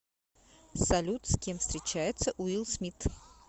салют с кем встречается уилл смит